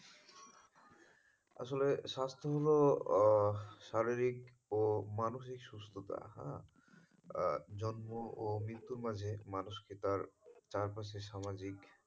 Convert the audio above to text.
আসলে স্বাস্থ্য হলো আহ শারীরিক ও মানসিক সুস্থতা। আহ জন্ম ও মৃত্যুর মাঝে মানুষ তার চারপাশে সামাজিক,